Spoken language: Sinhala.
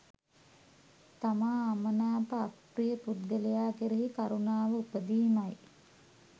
තමා අමනාප අප්‍රිය පුද්ගලයා කෙරෙහි කරුණාව උපදීමයි.